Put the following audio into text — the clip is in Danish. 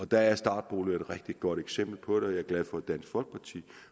der er startboliger et rigtig godt eksempel på det jeg er glad for at dansk folkeparti